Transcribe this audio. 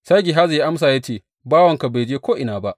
Sai Gehazi ya amsa ya ce, Bawanka bai je ko’ina ba.